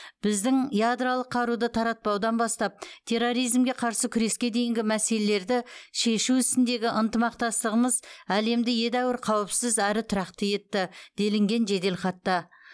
біздің ядролық қаруды таратпаудан бастап терроризмге қарсы күреске дейінгі мәселелерді шешу ісіндегі ынтымақтастығымыз әлемді едәуір қауіпсіз әрі тұрақты етті делінген жеделхатта